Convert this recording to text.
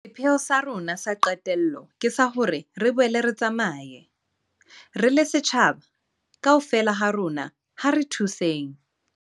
Sepheo sa rona sa qetello ke sa hore re boele re tsamaye. Re le setjhaba, kaofela ha rona ha re thuseng.